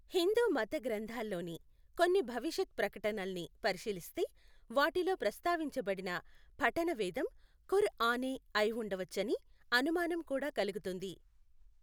హిందూమత గ్రంథాల్లోని కొన్ని భవిష్యత్ ప్రకటనల్ని పరిశీలిస్తే వాటిలో ప్రస్తావించబడిన పఠణవేదం ఖుర్ ఆనే అయి ఉండవచ్చని అనుమానం కూడా కలుగుతుంది.